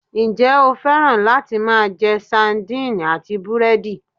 Njé o féràn láti máa je Sandine àti búrédì?